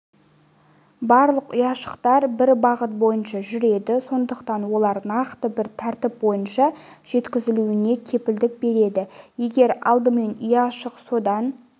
барлық ұяшықтар бір бағыт бойынша жүреді сондықтан олар нақты бір тәртіп бойынша жеткізілуіне кепілдік береді егер алдымен ұяшық содан